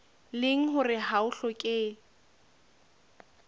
leng hore ha ho hlokehe